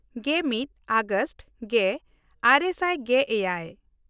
ᱜᱮᱢᱤᱫ August ᱜᱮᱼᱟᱨᱮ ᱥᱟᱭ ᱜᱮᱼᱮᱭᱟᱭ